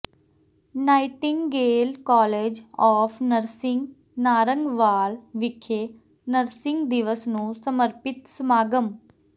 Nightingale college of nursing Narangwal ਵਿਖੇ nursing ਦਿਵਸ ਨੂੰ ਸਮਰਪਿਤ ਸਮਾਗਮ